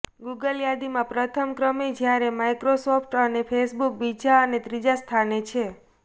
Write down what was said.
Google યાદીમાં પ્રથમ ક્રમે જ્યારે માઇક્રોસોફ્ટ અને ફેસબુક બીજા અને ત્રીજા સ્થાને છે